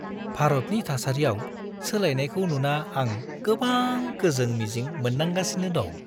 भारतनि थासारियाव सोलायनायखौ नुना आं गोबां गोजों-मिजिं मोनदांगासिनो दं।